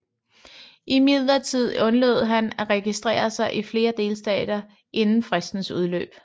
Imidlertid undlod han at registrere sig i flere delstater inden fristens udløb